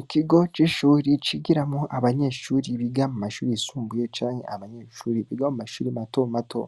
Ikigo c'ishure cigiramwo abanyeshuri bo mu mashuri yisumbuye canke abanyeshuri biga mu mashure mato mato.